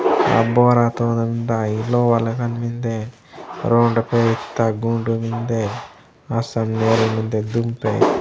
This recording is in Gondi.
अब बोरा तोरन डाई लो वाला कन मिंदे रोड पेयता गुंड मिन्दे असल्या ददूम पेय --